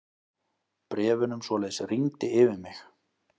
Bréfunum svoleiðis rigndi yfir mig.